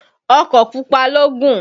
Ọkọ̀ pupa ló gùn.